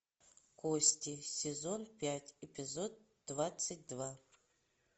кости сезон пять эпизод двадцать два